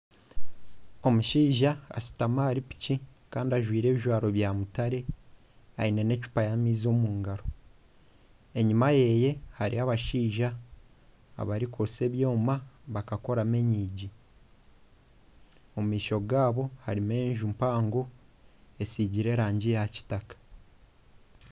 Omushaija ashutami ahari piki kandi ajwaire ebijwaro bya mutare, aine n'ecupa y'amaizi omu ngaro. Enyima ye hariyo abashaija abarikwotsya ebyoma bakakoramu enyigi. Omu maisho gaabo harimu enju mpango esiigire erangi ya kitaka.